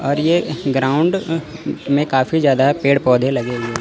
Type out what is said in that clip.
और ये ग्राउंड में काफी ज्यादा पेड़ पौधे लगे हुए--